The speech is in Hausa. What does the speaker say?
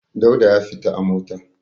Dauda ya fita a mota.